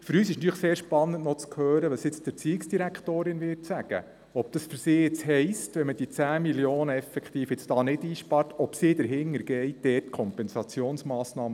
Für uns ist natürlich sehr spannend, was die ERZ sagen wird, also ob sie Kompensationsmassnahmen prüft, wenn diese 10 Mio. Franken nicht eingespart werden.